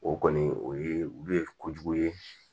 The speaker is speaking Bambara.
O kɔni o ye olu ye kojugu ye